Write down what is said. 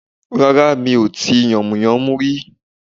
Rárá mi ò tí yànmùyánmú rí